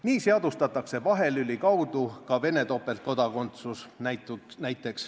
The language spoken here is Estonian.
Nii seadustatakse vahelüli kaudu ka näiteks Venemaa topeltkodakondsus.